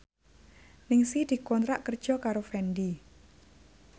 Ningsih dikontrak kerja karo Fendi